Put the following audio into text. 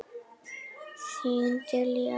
Þín Diljá.